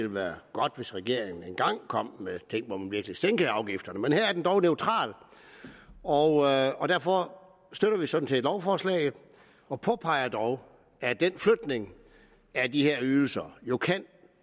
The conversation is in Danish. være godt hvis regeringen engang kom med ting man virkelig sænkede afgifterne men her er den dog neutral og og derfor støtter vi sådan set lovforslaget og påpeger dog at den flytning af de her ydelser jo kan